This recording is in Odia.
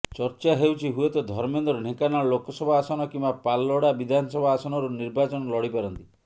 ଚର୍ଚ୍ଚା ହେଉଛି ହୁଏ ତ ଧର୍ମେନ୍ଦ୍ର ଢ଼େଙ୍କାନାଳ ଲୋକସଭା ଆସନ କିମ୍ବା ପାଲଲହଡା ବିଧାନସଭା ଆସନରୁ ନିର୍ବାଚନ ଲଢ଼ିପାରନ୍ତି